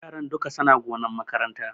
Yaran dukka suna gonan makaranta.